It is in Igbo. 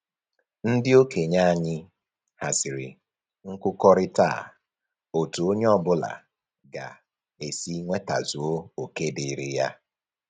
Ndị okenye anyị haziri nkụkọrịta a otu onye ọbụla ga-esi nwetazuo oke dịịrị ya